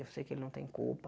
Eu sei que ele não tem culpa.